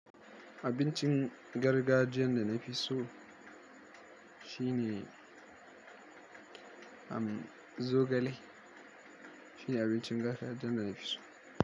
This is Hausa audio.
Abincin gargajiyan da na fi so shine, am zogale shine abincin gargajiyan da na fi so.